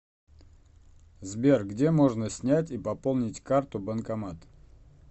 сбер где можно снять и пополнить карту банкомат